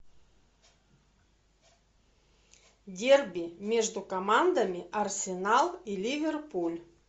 дерби между командами арсенал и ливерпуль